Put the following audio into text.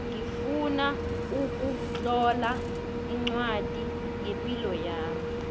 ngifuna ukutlola ncwadi ngepilo yami